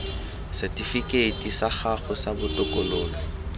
setifikeiti sa gago sa botokololo